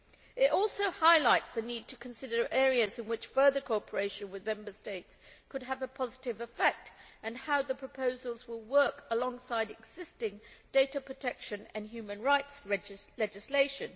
It also highlights the need to consider areas in which further cooperation with Member States could have a positive effect and how the proposals will work alongside existing data protection and human rights legislation.